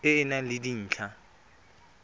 e e nang le dintlha